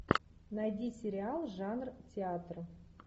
найди сериал жанр театр